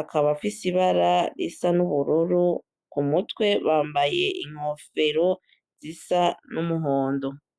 akabafaise ibara risa n'ubururu ku mutwe bambaye inkofero zisa n'umuhondo.